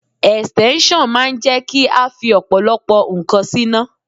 Ẹ̀stẹ́nṣọ̀n máa ń jẹ́ kí a fi ọ̀pọ̀lọpọ̀ ǹkan síná.